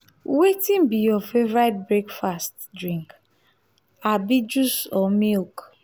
wetin be your favorite breakfast drink abi juice or milk?